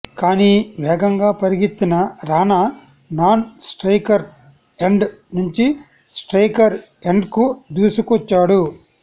కానీ వేగంగా పరిగెత్తిన రాణా నాన్ స్ట్రయికర్ ఎండ్ నుంచి స్ట్రైకర్ ఎండ్కు దూసుకొచ్చాడు